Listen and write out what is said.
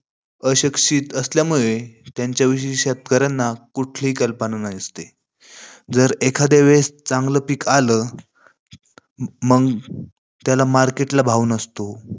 अशिक्षित असल्यामुळे त्यांच्या विषयी शेतकऱ्यांना कुठलीही कल्पना नसते. जर एखाद्यावेळेस चांगलं पिक आलं, मंग त्याला market ला भाव नसतो.